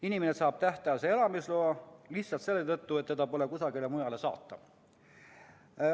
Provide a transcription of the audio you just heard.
Inimene saab tähtajalise elamisloa lihtsalt selle tõttu, et teda pole kusagile mujale saata.